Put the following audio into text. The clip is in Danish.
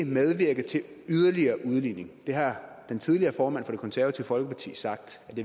medvirke til yderligere udligning det har den tidligere formand for det konservative folkeparti sagt